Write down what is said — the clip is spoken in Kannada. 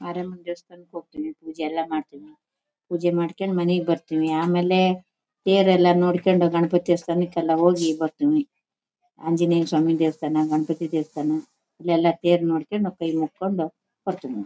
ಮಾರಮ್ಮನ್ ದೇವಸ್ಥಾನಕ್ ಹೋಗ್ತೀನಿ ಪೂಜೆ ಎಲ್ಲ ಮಾಡ್ತೀನಿ ಪೂಜೆ ಮಾಡಿಕಂಡ್ ಮನೆಗ್ ಬರ್ತೀನಿ. ಆಮೇಲೆ ತೇರ್ ಎಲ್ಲ ನೋಡ್ಕೊಂಡಿ ಗಣಪತಿ ದೇವಸ್ಥಾನಕ್ ಎಲ್ಲ ಹೋಗಿ ಬರ್ತೀನಿ. ಆಂಜಿನೇಯಸ್ವಾಮಿ ದೇವಸ್ಥಾನ ಗಣಪತಿ ದೇವಸ್ಥಾನ ಇಲ್ಲೆಲ ತೇರ್ ನೋಡ್ಕಂಡ್ ಕೈಮೂಕೋಂಡ್ ಹೋಗ್ತೀನಿ --